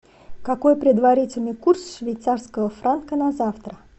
какой предварительный курс швейцарского франка на завтра